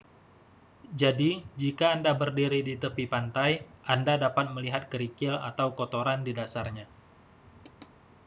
jadi jika anda berdiri di tepi pantai anda dapat melihat kerikil atau kotoran di dasarnya